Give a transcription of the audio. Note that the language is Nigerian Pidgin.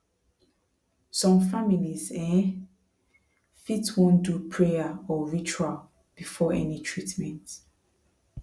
some families um fit wan do prayer or ritual before any treatment